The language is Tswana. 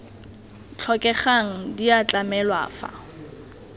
tlhokegang di a tlamelwa fa